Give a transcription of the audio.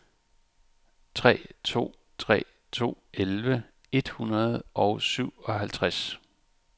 tre to tre to elleve et hundrede og syvoghalvtreds